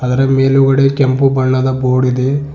ಅದರ ಮೇಲುಗಡೆ ಕೆಂಪು ಬಣ್ಣದ ಬೋರ್ಡ್ ಇದೆ.